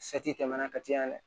tɛmɛna ka caya dɛ